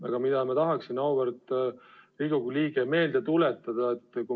Aga ma tahaksin teile, auväärt Riigikogu liige, üht asja meelde tuletada.